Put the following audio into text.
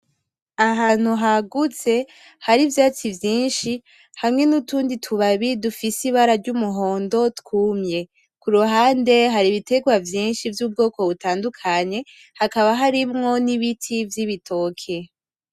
Ahantu hagutse, hari ivyatsi vyinshi, hari n' utundi tubabi dufise ibara ry'umuhondo twumye. Ku ruhane hari ibiterwa vyinshi vy'ubwoko butandukanye hakaba harimwo n'ibiti vy'ibitoke.